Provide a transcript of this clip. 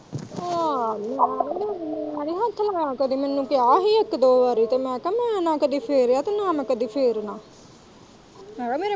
ਆਹ ਮੈਂ ਨੀ ਹੱਥ ਲਗਾਇਆ ਕਦੇ ਮੈਨੂੰ ਕਿਹਾ ਹੀ ਇੱਕ-ਦੋ ਵਾਰੀ ਤੇ ਮੈਂ ਕਿਹਾ ਨਾ ਤੇ ਕਦੇ ਫੇਰਿਆ ਤੇ ਨਾ ਮੈਂ ਕਦੀ ਫੇਰਨਾ।